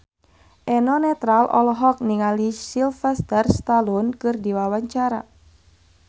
Eno Netral olohok ningali Sylvester Stallone keur diwawancara